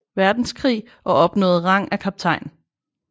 Verdenskrig og opnåede rang af kaptajn